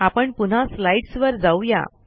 आपण पुन्हा स्लाईडस् वर जाऊ या